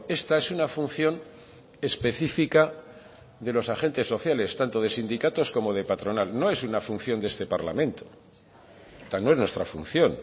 esta es una función específica de los agentes sociales tanto de sindicatos como de patronal no es una función de este parlamento no es nuestra función